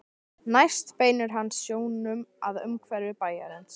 Næst beinir hann sjónum að umhverfi bæjarins.